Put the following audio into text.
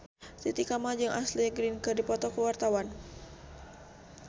Titi Kamal jeung Ashley Greene keur dipoto ku wartawan